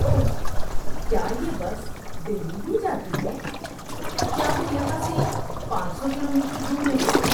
اوہ! کیا یہ بس دہلی بھی جاتی ہے؟ کیا وہ یہاں سے پانچ سو کلومیٹر دور نہیں ہے؟